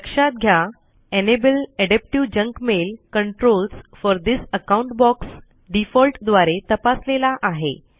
लक्षात घ्या enable adaptive junk mail controls for this account box default द्वारे तपासलेला आहे